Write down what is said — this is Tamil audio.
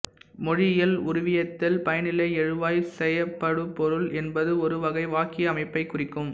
மொழியியல் உருவியத்தில் பயனிலைஎழுவாய்செயப்படுபொருள் என்பது ஒரு வகை வாக்கிய அமைப்பைக் குறிக்கும்